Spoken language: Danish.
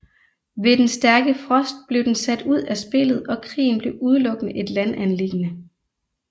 Ved den stærke frost blev den sat ud af spillet og krigen blev udelukkende et landanliggende